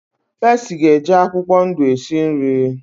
Pesi ga-eje akwụkwọ ndụ esi nri